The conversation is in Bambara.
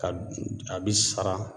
Ka a bi sara